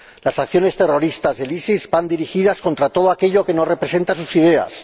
Las acciones terroristas del ISIS van dirigidas contra todo aquello que no representa sus ideas.